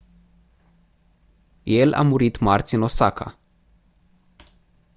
el a murit marți în osaka